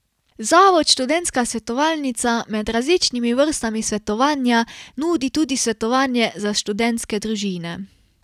Zavod Študentska svetovalnica med različnimi vrstami svetovanja nudi tudi svetovanje za študentske družine.